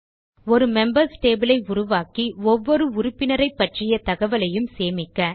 ஒரு members table ஐ உருவாக்கி ஒவ்வொரு உறுப்பினரைப்பற்றிய தகவலையும் சேமிக்க